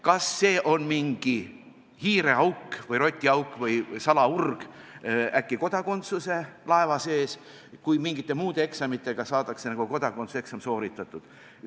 Kas see on mingi hiireauk, rotiauk või salaurg äkki kodakondsuse laeva sees, kui mingite muude eksamitega saadakse kodakondsuse eksam sooritatud?